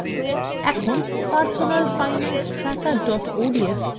এখন personalfinancetracker odsখোলা যাক